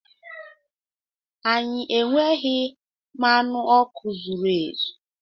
Anyị enweghị mmanụ ọkụ zuru ezu.